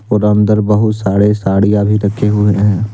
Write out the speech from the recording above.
अंदर बहुत सारे साड़ियां भी रखे हुए है।